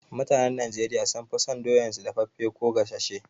Mutanen Najeriya sun fi son doyan su daffafe ko gasashe